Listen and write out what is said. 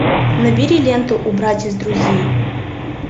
набери ленту убрать из друзей